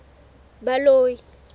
baloi